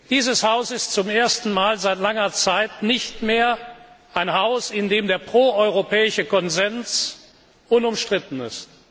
Dieses Haus ist zum ersten Mal seit langer Zeit nicht mehr ein Haus, in dem der proeuropäische Konsens unumstritten ist.